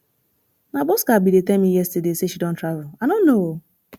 na bosca bin dey tell me yesterday say she don travel i no know ooo